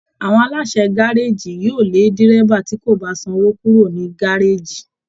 Àwọn aláṣẹ gárèjì yóò lé dérébà tí kò bá sanwò kúrò ní gárèjì